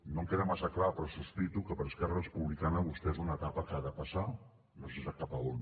no em queda massa clar però sospito que per a esquerra republicana vostè és una etapa que ha de passar no sé sap cap on